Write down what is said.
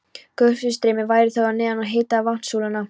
Gufustreymi væri þó að neðan og hitaði vatnssúluna.